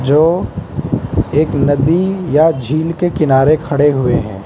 जो एक नदी या झील के किनारे खड़े हुए हैं।